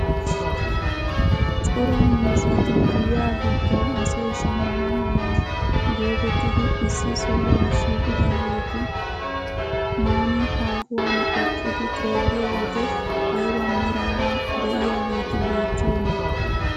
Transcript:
Cora miizzati giyaa giddon asay shammana mala getettidi issi sohuwaa shiqidaagetu nuuni haahuwaan eqqiidi xeelliyoo wode ayba meraara de'iyaageti beettiyoonaa?